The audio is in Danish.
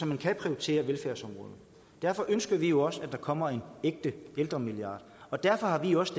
man kan prioritere velfærdsområdet derfor ønsker vi jo også at der kommer en ægte ældremilliard og derfor har vi også